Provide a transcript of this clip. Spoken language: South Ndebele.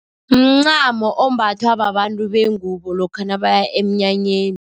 Mncamo ombathwa babantu bengubo lokha nabaya emnyanyeni.